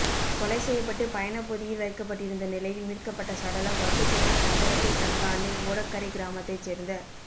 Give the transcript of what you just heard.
கொலை செய்யப்பட்டு பயணப் பொதியில் வைக்கப்பட்டிருந்த நிலையில் மீட்கப்பட்ட சடலம் வட்டுக்கோட்டை சங்கரத்தை சங்கானை ஓடக்கரை கிராமத்தைச் சேர்ந்த